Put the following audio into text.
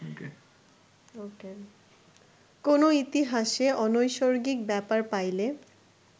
কোন ইতিহাসে অনৈসর্গিক ব্যাপার পাইলে